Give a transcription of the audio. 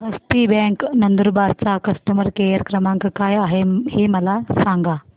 हस्ती bank Nandurbar चा customer care क्रमांक काय आहे हे मला सांगा